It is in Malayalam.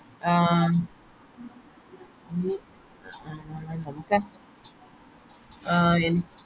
ആഹ് ആഹ് എനി